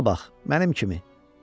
Qabağa bax, mənim kimi.